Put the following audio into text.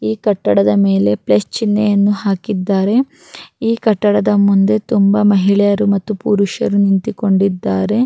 ಈ ಕಟ್ಟಡದ ಮೇಲೆ ಪ್ಲಸ್ ಚಿನ್ನೆಯನ್ನು ಹಾಕಿದ್ದಾರೆ ಈ ಕಟ್ಟಡದ ಮುಂದೆ ತುಂಬಾ ಮಹಿಳೆಯರು ಮತ್ತು ಪುರುಷರು ನಿಂತಿಕೊಂಡಿದ್ದಾರೆ.